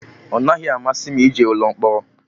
Ọ naghị amasị m ije ụlọ mkpọrọ